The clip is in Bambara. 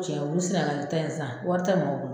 Cɛ ubi sɛnɛgali ta in san wari te maaw bolo